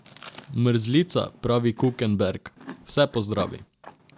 Mrzlica, pravi Kukenberg, vse pozdravi.